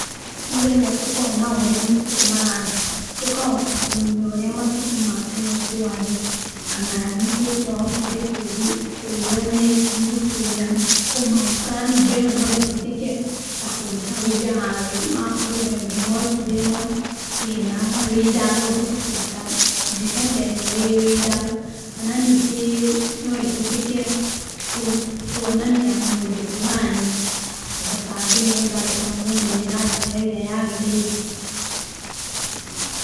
Ni getha tũkona ũrĩa matukũ marathiĩ tũkahota kũmenya ũrĩa matukũ ma tene kwarĩ. Kana nĩ kĩĩ twahotire kwĩnyitĩrĩra matukũ mau. Kana ningĩ ona no ĩhũthĩke ta kũruta wũira handũ, no akorwo he ũndũ mwekire no hatirĩ na ũira, no ũhote kũruta mbica ta ĩno ĩ wũira. Kana ningĩ no ĩhũthĩke kuonania mũndũ fulani kuhota andũ nĩ getha andũ mamũmenye na njĩra ĩrĩa yagĩrĩire.